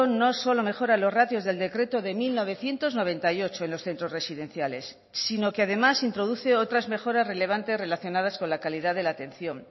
no solo mejora los ratios del decreto de mil novecientos noventa y ocho en los centros residenciales sino que además introduce otras mejoras relevantes relacionadas con la calidad de la atención